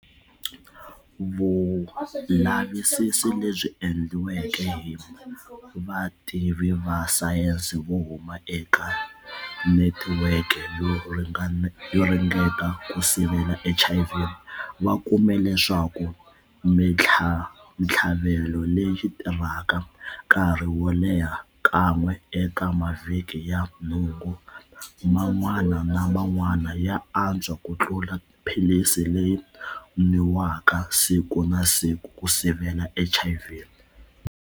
Vulavisisi lebyi endliweke hi vativi va sayense vo huma eka Netiweke yo Ringeta ku Sivela HIV va kume leswaku mitlhavelo leyi tirhaka nkarhi wo leha kan'we eka mavhiki ya nhungu man'wana na man'wana ya atswa ku tlula philisi leyi nwiwaka siku na siku ku sivela HIV.